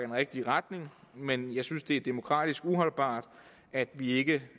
den rigtige retning men jeg synes det er demokratisk uholdbart at vi ikke